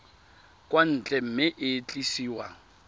kwa ntle mme e tliswa